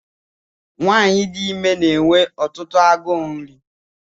Nwaanyị dị ime na-enwe ọtụtụ agụụ nri.